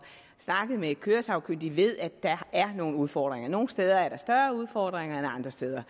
snakket med de køresagkyndige ved at der er nogle udfordringer nogle steder er der større udfordringer end andre steder